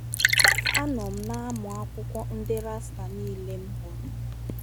Anọ m na - amụ akwụkwọ ndị Rasta niile m hụrụ.